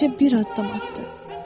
Təkcə bir addım atdı.